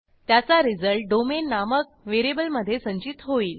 त्याचा result domain नामक व्हेरिएबलमधे संचित होईल